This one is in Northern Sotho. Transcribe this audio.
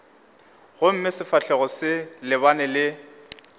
gomme sefahlogo se lebane le